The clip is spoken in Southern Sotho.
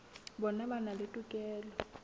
bona ba na le tokelo